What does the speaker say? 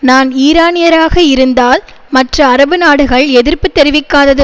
நான் ஈரானியராக இருந்தால் மற்ற அரபு நாடுகள் எதிர்ப்பு தெரிவிக்காதது